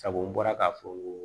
Sabu n bɔra k'a fɔ